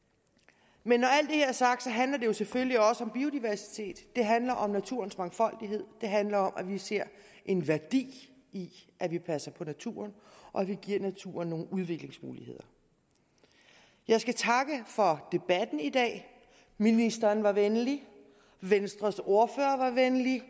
men her er sagt handler det selvfølgelig også om biodiversitet det handler om naturens mangfoldighed det handler om at vi ser en værdi i at vi passer på naturen og at vi giver naturen nogle udviklingsmuligheder jeg skal takke for debatten i dag ministeren var venlig venstres ordfører var venlig